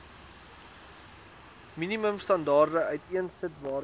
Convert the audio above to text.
minimumstandaarde uiteensit waaraan